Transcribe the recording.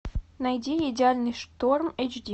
найди идеальный шторм эйч ди